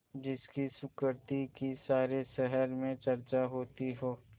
जिसकी सुकृति की सारे शहर में चर्चा होती हो